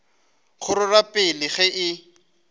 go rerwa pele ge e